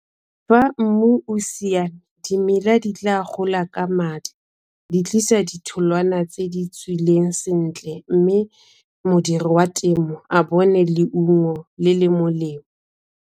Fa mmu o siame, dimela di tla gola ka di tlisa ditholwana tse di tswileng sentle mme modiri wa temo a bone leungo le le molemo.